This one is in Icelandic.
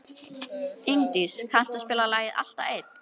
Ingdís, kanntu að spila lagið „Alltaf einn“?